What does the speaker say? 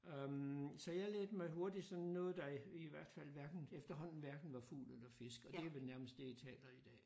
Øh så jeg lærte mig hurtigt sådan noget der i hvert fald hverken efterhånden hverken var fugl eller fisk og det er vel nærmest det jeg taler i dag